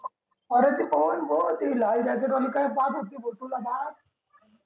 अरे ती पवन बघ ती लाल jacket वाली काय पाहत होती कुकूल बाळ